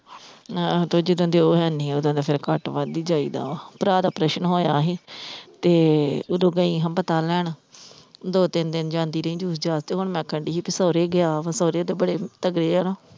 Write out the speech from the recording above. ਆਹੋ ਤੇ ਜਿਦੋਂ ਦੇ ਉਹ ਹੈਨੀ ਓਦੋ ਦਾ ਫਿਰ ਘੱਟ ਵੱਧ ਹੀ ਜਾਈਦਾ ਵਾ, ਭਰਾ ਦਾ operation ਹੋਇਆ ਹੀ ਤੇ ਓਦੋਂ ਗਈ ਹਾਂ ਪਤਾ ਲੈਣ ਦੋ ਤਿੰਨ ਦਿਨ ਜਾਂਦੀ ਰਹੀ ਤੇ ਹੁਣ ਮੈਂ ਆਖਣ ਡੀ ਭੀ ਸੋਹਰੇ ਗਿਆ ਵਾ ਸੋਹਰੇ ਇਹਦੇ ਬੜੇ ਤਗੜੇ ਆ ਨਾ।